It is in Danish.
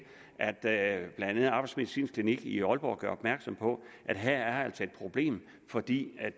at blandt andet arbejdsmedicinsk klinik i aalborg gjorde opmærksom på at her var der altså et problem fordi